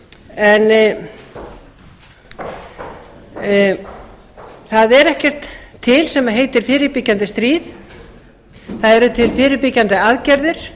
en það er ekkert til sem heitir fyrirbyggjandi stríð það eru til fyrirbyggjandi aðgerðir